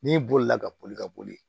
N'i bolila ka boli ka boli